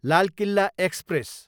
Lal Quila express